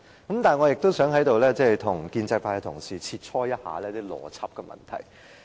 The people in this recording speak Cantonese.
但是，我也想在此跟建制派同事切磋一下邏輯的問題。